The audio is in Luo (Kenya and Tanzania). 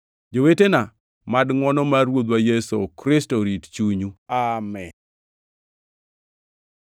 Jowetena, mad ngʼwono mar Ruodhwa Yesu Kristo rit chunyu. Amin.